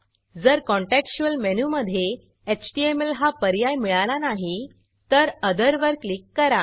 जर contextual contextual मेनूमधे HTML हा पर्याय मिळाला नाही तर ओथर अदर वर क्लिक करा